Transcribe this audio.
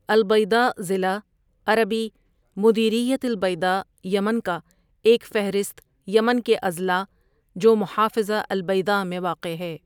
البیضاء ضلع عربی مديرية البيضاء یمن کا ایک فہرست یمن کے اضلاع جو محافظہ البیضاء میں واقع ہے۔